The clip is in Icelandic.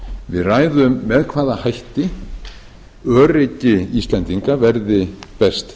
við ræðum með hvaða hætti öryggi íslendinga verði best